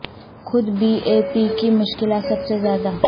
خود B A P کی مشکلات سب سے زیادہ